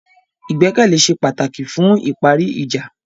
Ìgbẹ́kẹ̀lé ṣe pàtàkì fún ìparí ìjà.